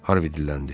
Harvi dilləndi.